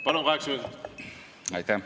Palun, kaheksa minutit!